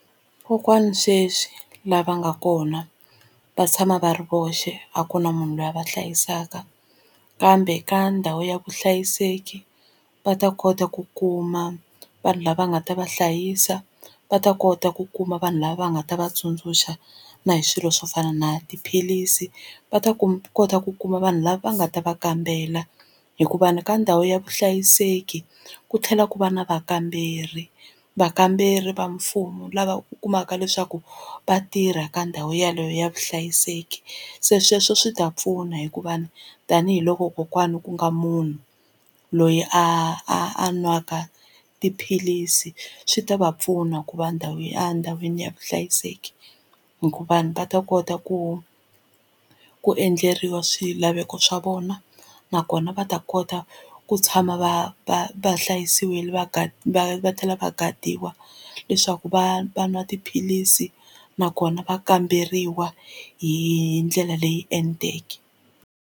Kokwana sweswi lava nga kona va tshama va ri voxe a ku na munhu loyi a va hlayisaka kambe ka ndhawu ya vuhlayiseki va ta kota ku kuma vanhu lava nga ta va hlayisa va ta kota ku kuma vanhu lava va nga ta va tsundzuxa na hi swilo swo fana na tiphilisi va ta ku kota ku kuma vanhu lava va nga ta va kambela hikuva ni ka ndhawu ya vuhlayiseki ku tlhela ku va na vakamberi. Vakamberi va mfumo lava u kumaka leswaku va tirha ka ndhawu yeleyo ya vuhlayiseki se sweswo swi ta pfuna hikuva tanihiloko kokwana ku nga munhu loyi a a nwaka tiphilisi swi ta va pfuna ku va ndhawu ya endhawini ya vuhlayiseki hikuva ni va ta kota ku ku endleriwa swilaveko swa vona nakona va ta kota ku tshama va va va hlayisiwile va va tlhela va gadiwini leswaku va va nwa tiphilisi nakona va kamberiwa hi ndlela leyi enteke.